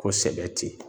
Ko sɛbɛ tɛ